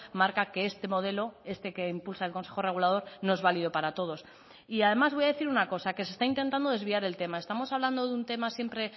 marca que este modelo este que impulsa el consejo regulador no es válido para todos y además voy a decir una cosa que se está intentando desviar el tema estamos hablando de un tema siempre